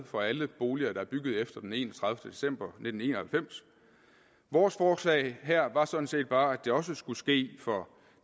for alle boliger der er bygget efter den enogtredivete december nitten en og halvfems vores forslag her var sådan set bare at det også skulle ske for